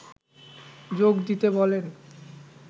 যোগ দিতে বলেন